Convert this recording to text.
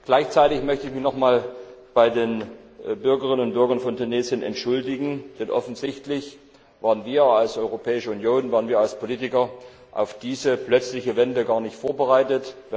Gleichzeitig möchte ich mich noch einmal bei den Bürgerinnen und Bürgern in Tunesien entschuldigen, denn offensichtlich waren wir als Europäische Union und als Politiker auf diese plötzliche Wende gar nicht vorbereitet.